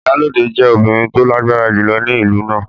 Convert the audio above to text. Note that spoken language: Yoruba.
Iyalode jẹ́ obìnrin tó lágbára jùlọ ní ìlú náà.